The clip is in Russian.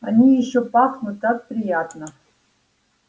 они ещё пахнут так приятно